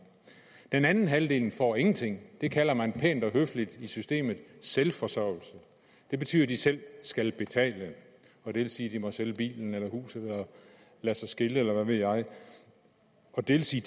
den anden halvdel får ingenting det kalder man pænt og høfligt i systemet selvforsørgelse det betyder at de selv skal betale og det vil sige at de må sælge bilen eller huset eller lade sig skille eller hvad ved jeg det vil sige